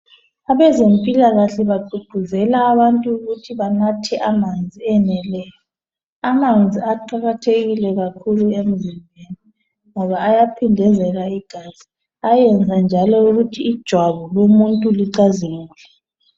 Abezempilakahle bagqugquzela abantu ukuthi banathe amanzi eneleyo. Amanzi aqakathekile kakhulu emzimbeni ngoba ayaphindezela igazi ayenza njalo ukuthi ijwabu lomuntu licazimule.